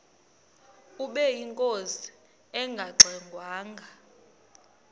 ubeyinkosi engangxe ngwanga